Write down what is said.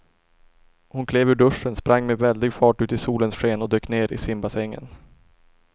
Hon klev ur duschen, sprang med väldig fart ut i solens sken och dök ner i simbassängen.